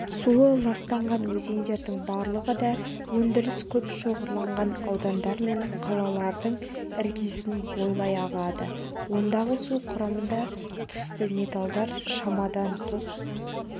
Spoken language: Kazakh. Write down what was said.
суы ластанған өзендердің барлығы да өндіріс көп шоғырланған аудандар мен қалалардың іргесін бойлай ағады ондағы су құрамында түсті металдар шамадан тыс